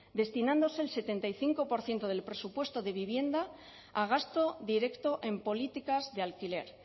destinándose el setenta y cinco por ciento del presupuesto de vivienda a gasto directo en políticas de alquiler